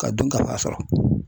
Ka dunkafa sɔrɔ